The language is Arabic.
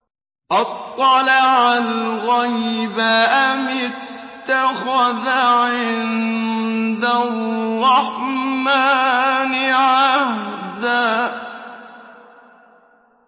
أَطَّلَعَ الْغَيْبَ أَمِ اتَّخَذَ عِندَ الرَّحْمَٰنِ عَهْدًا